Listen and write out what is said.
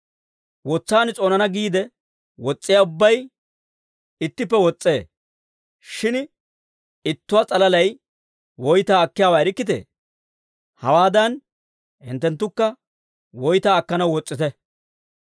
Wotsaan s'oonana giide wos's'iyaa ubbay ittippe wos's'ee. Shin ittuwaa s'alalay woytaa akkiyaawaa erikkitee? Hawaadan hinttenttukka woytaa akkanaw wos's'ite.